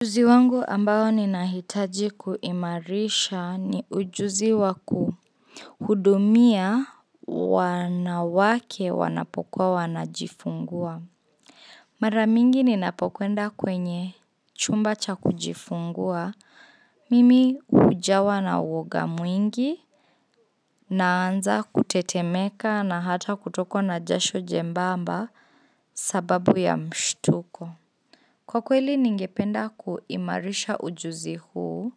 Ujuzi wangu ambao ninahitaji kuimarisha ni ujuzi waku hudumia wanawake wanapokuwa wanajifungua. Maramingi ninapokwenda kwenye chumba cha kujifungua, mimi hujawa na woga mwingi, naanza kutetemeka na hata kutokwa na jasho jembamba sababu ya mshtuko. Kwa kweli ningependa kuimarisha ujuzi huu,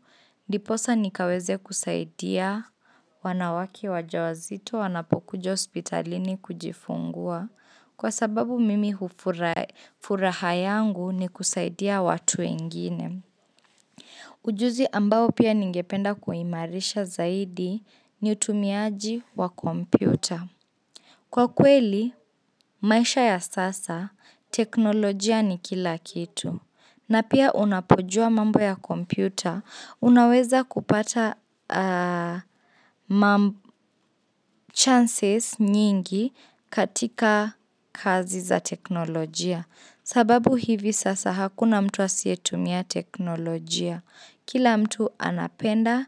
ndiposa nikaweze kusaidia wanawake wajawazito wanapokuja ospitalini kujifungua kwa sababu mimi hufuraha yangu ni kusaidia watu wengine. Ujuzi ambao pia ningependa kuimarisha zaidi ni utumiaji wa kompyuta. Kwa kweli, maisha ya sasa, teknolojia ni kila kitu. Na pia unapojua mambo ya kompyuta, unaweza kupata chances nyingi katika kazi za teknolojia. Sababu hivi sasa hakuna mtu asiyetumia teknolojia. Kila mtu anapenda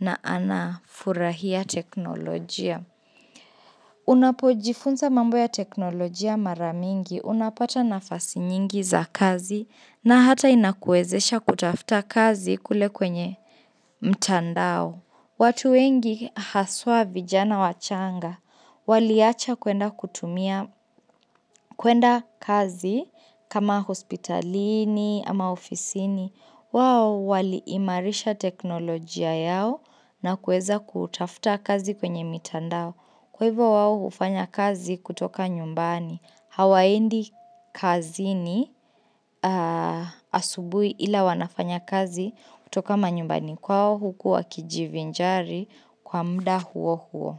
na anafurahia teknolojia. Unapo jifunza mambo ya teknolojia maramingi unapata nafasi nyingi za kazi na hata inakuezesha kutafta kazi kule kwenye mtandao. Watu wengi haswa vijana wachanga. Waliacha kwenda kazi kama hospitalini ama ofisini. Wao waliimarisha teknolojia yao na kueza kutafta kazi kwenye mitandao. Kwa hivyo wao ufanya kazi kutoka nyumbani, hawaendi kazi ni asubui ila wanafanya kazi kutoka manyumbani kwao huku wa kijivinjari kwa mda huo huo.